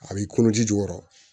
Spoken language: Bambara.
A b'i kɔnɔ ji jukɔrɔ